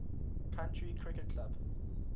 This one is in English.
county cricket club